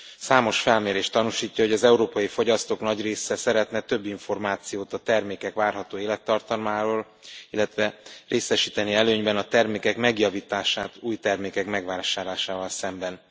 Számos felmérés tanúsítja, hogy az európai fogyasztók nagy része szeretne több információt a termékek várható élettartamáról, illetve előnyben részesítené a termékek megjavíttatását új termékek megvásárlásával szemben.